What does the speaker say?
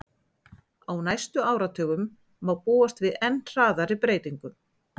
Á næstu áratugum má búast við enn hraðari breytingum.